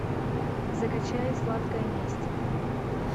закачай сладкая месть